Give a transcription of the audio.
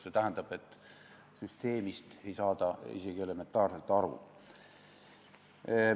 See tähendab, et süsteemist ei saada isegi elementaarselt aru.